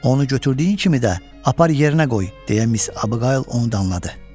Onu götürdüyün kimi də apar yerinə qoy, deyə Miss Abiqayıl onu danladı.